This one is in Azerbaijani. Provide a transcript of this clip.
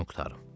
Sözümü qurtarım.